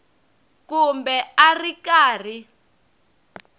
kumbe a a ri karhi